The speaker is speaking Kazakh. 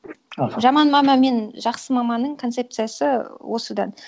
жаман мама мен жақсы маманың концепциясы осыдан